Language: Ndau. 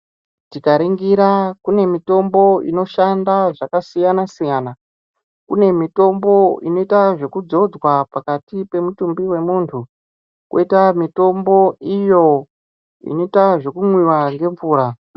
Tingaringira kune mitombo inoshanda zvakasiyana siyana, kune mitombo inoita zvekudzodzwa pakati pemitumbi wemunhu koita mitombo iyo inoita zvekumwiwa ngemvura.